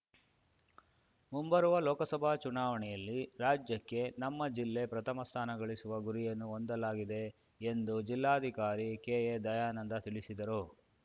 ಮುಂಬರುವ ಲೋಕಸಭಾ ಚುಣಾವಣೆಯಲ್ಲಿ ರಾಜ್ಯಕ್ಕೆ ನಮ್ಮ ಜಿಲ್ಲೆ ಪ್ರಥಮ ಸ್ಥಾನ ಗಳಿಸುವ ಗುರಿಯನ್ನು ಹೊಂದಲಾಗಿದೆ ಎಂದು ಜಿಲ್ಲಾಧಿಕಾರಿ ಕೆ ಎ ದಯಾನಂದ ತಿಳಿಸಿದರು